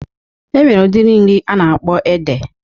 Enwere udiri nri a na-akpọ ede.